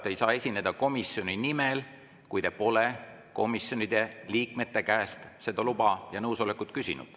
Te ei saa esineda komisjoni nimel, kui te pole komisjoni liikmete käest seda nõusolekut küsinud.